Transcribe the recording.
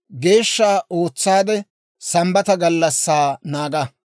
«Geeshsha ootsaade, Sambbata gallassaa naaga.